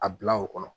A bila o kɔnɔ